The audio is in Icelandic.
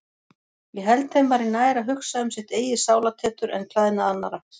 Ég held þeim væri nær að hugsa um sitt eigið sálartetur en klæðnað annarra.